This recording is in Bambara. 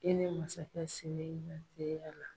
E ni masakɛ sen la.